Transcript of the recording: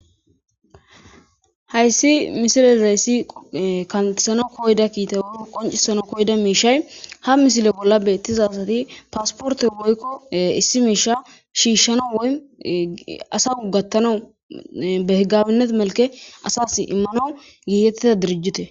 Hayssi misilezayessi kantesano koyda kiita uu qoncisano koyda miishay ha misile bolla beettizasati paasporte woykko issi miisha shiishshanoasau gattano behgabinnet melke asas immano giiyettida dirijjute.